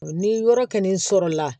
Ni yɔrɔ kɛlen sɔrɔla